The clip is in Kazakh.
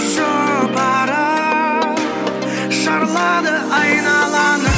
жұпары шарлады айналаны